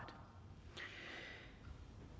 det